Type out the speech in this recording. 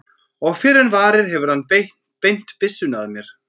Og fyrr en varir hefur hann beint byssunni að mér.